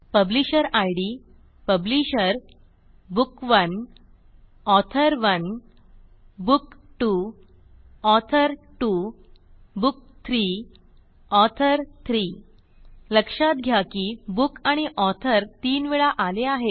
publisher id publisher book author 1 book 2 author 2 book 3 author 3 लक्षात घ्या की बुक आणि ऑथर तीन वेळा आले आहेत